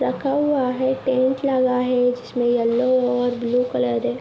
रखा हुआ है टेंट लगा है जिसमें येलो और ब्‍लू कलर है।